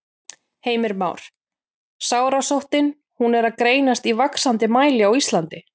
Heimir Már: Sárasóttin, hún er að greinast í vaxandi mæli á Íslandi?